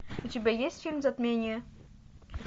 у тебя есть фильм затмение